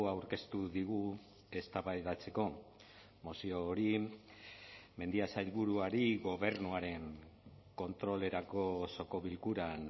aurkeztu digu eztabaidatzeko mozio hori mendia sailburuari gobernuaren kontrolerako osoko bilkuran